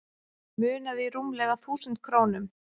Munaði rúmlega þúsund krónum